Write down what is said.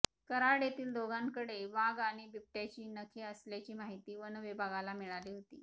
कऱ्हाड येथील दोघांकडे वाघ आणि बिबट्याची नखे असल्याची माहिती वनविभागाला मिळाली होती